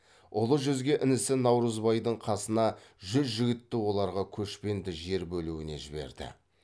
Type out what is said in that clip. ұлы жүзге інісі наурызбайдың қасына жүз жігітті оларға көшпенді жер бөлуіне жіберді